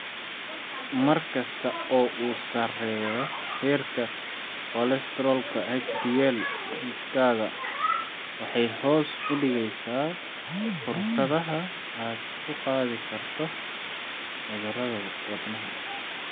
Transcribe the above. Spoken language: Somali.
Markasta oo uu sareeyo heerka kolestaroolka HDL-gaaga, waxay hoos u dhigeysaa fursadaha aad ku qaadi karto cudurada wadnaha.